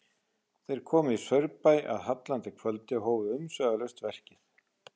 Þeir komu í Saurbæ að hallandi kvöldi og hófu umsvifalaust verkið.